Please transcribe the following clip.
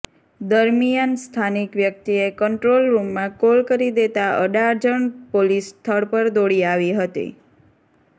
દરમિયાન સ્થાનિક વ્યક્તિએ કંટ્રોલ રૂમમાં કોલ કરી દેતા અડાજણ પોલીસ સ્થળ પર દોડી આવી હતી